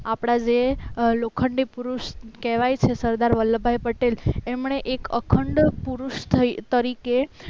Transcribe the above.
આપણા જે લોખંડી પુરુષ કહેવાય છે સરદાર વલ્લભભાઈ પટેલ એમણે એક અખંડ પુરુષ તરીકે